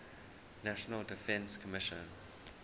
national defense commission